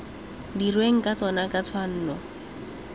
dirweng ka tsona ka tshwanno